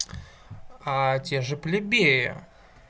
те же плебеи